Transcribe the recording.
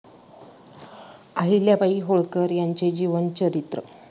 आहिल्या बाई होळकर यांचे जीवन चरित्र